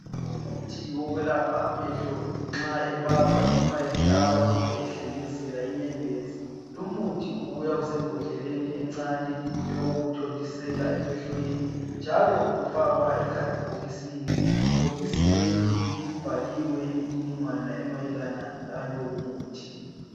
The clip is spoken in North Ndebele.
Umuthi wokwelapha amehlo nxa ebaba, noma ehlaba, kumbe ehlengezela inyembezi. Lumuthi ubuya isembodleleni ecane eyokuwuthontisela emehlweni, njalo ufakwa ekhadibhokisini. Ibhokisi leli libhaliwe imnininggwana yalo umuthi.